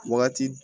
Wagati